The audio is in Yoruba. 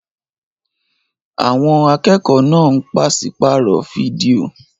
Àwọn akẹ́kọ̀ọ́ náà ń pàṣípààrọ̀ fídíò.